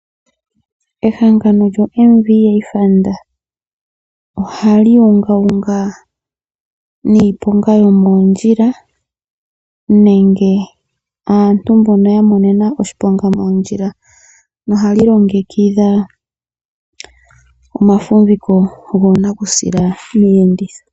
Ehangano lyo MVA Fund oha li ungaunga niiponga yomoondjila, nenge aantu mbono yamonena oshiponga moondjila. Nohali longekidha omafumbiko goonakusila miiyenditho.